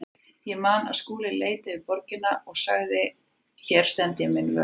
Ég man að Skúli leit yfir borgina og sagði: Hér stend ég minn vörð.